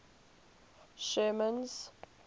sherman's